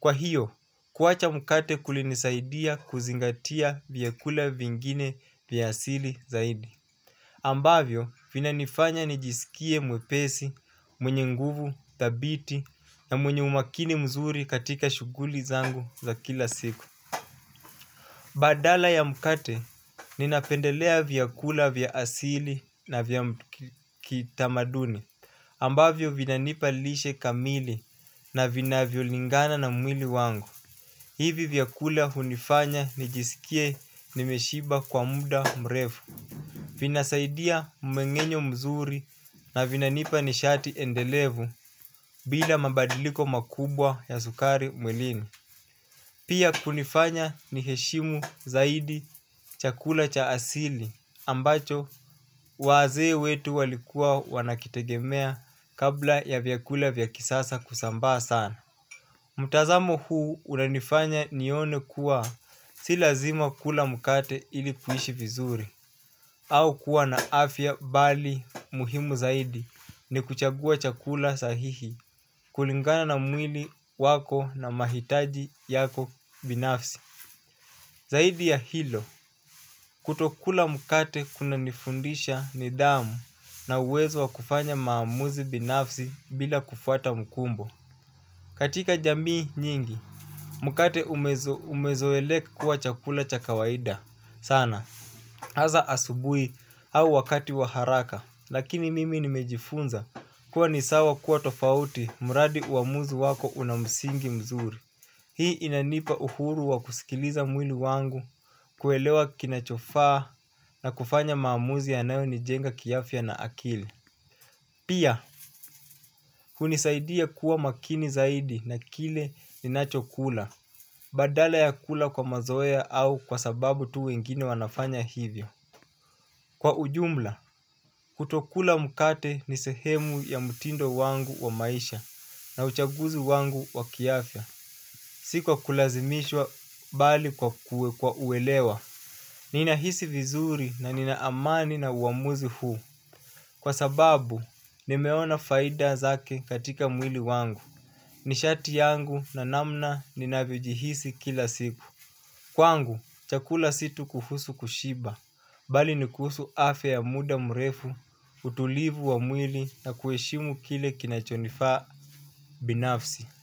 Kwa hiyo, kuacha mkate kulinisaidia kuzingatia vyakula vingine vya asili zaidi. Ambavyo, vina nifanya nijiskie mwepesi, mwenye nguvu thabiti na mwenye umakini mzuri katika shuguli zangu za kila siku. Badala ya mkate ninapendelea vyakula vya asili na vya kitamaduni ambavyo vinanipa lishe kamili na vinavyo lingana na mwili wangu. Hivi vyakula unifanya nijisikie nimeshiba kwa muda mrevu vinasaidia mmeng'enyo mzuri na vinanipa nishati endelevu bila mabadiliko makubwa ya sukari mwilini. Pia kunifanya niheshimu zaidi chakula cha asili ambacho wazee wetu walikuwa wanakitegemea kabla ya vyakula vya kisasa kusambaa sana. Mtazamo huu unanifanya nione kuwa si lazima kula mkate ili kuishi vizuri. Au kuwa na afya bali muhimu zaidi ni kuchagua chakula sahihi kulingana na mwili wako na mahitaji yako binafsi. Zaidi ya hilo, kutokula mkate kuna nifundisha nidhamu na uwezo wa kufanya maamuzi binafsi bila kufuata mkumbo. Katika jamii nyingi, mukate umezoeleka kuwa chakula cha kawaida sana haza asubui au wakati wa haraka lakini mimi nimejifunza kuwa ni sawa kuwa tofauti mradi uamuzi wako una msingi mzuri. Hii inanipa uhuru wa kusikiliza mwili wangu kuelewa kinachofaa na kufanya maamuzi yanayo nijenga kiafya na akili. Pia, unisaidia kuwa makini zaidi na kile ninachokula. Badala ya kula kwa mazoea au kwa sababu tu wengine wanafanya hivyo. Kwa ujumla, kutokula mkate ni sehemu ya mtindo wangu wa maisha na uchaguzi wangu wa kiafya. Si kwa kulazimishwa bali kwa kue kwa uelewa. Ninahisi vizuri na nina amani na uamuzi huu. Kwa sababu, nimeona faida zake katika mwili wangu. Nishati yangu na namna ninavyojihisi kila siku kwangu, chakula si tu kufusu kushiba bali nikuhusu afya ya muda mrefu, utulivu wa mwili na kueshimu kile kinachonifaa binafsi.